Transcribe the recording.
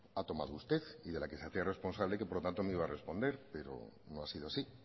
ha tomado usted y de la que se hacía responsable y que por lo tanto me iba a responder pero no ha sido así